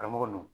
Karamɔgɔ n